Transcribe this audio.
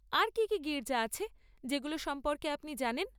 আর কী কী গির্জা আছে যেগুলো সম্পর্কে আপনি জানেন?